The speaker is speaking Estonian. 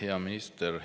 Hea minister!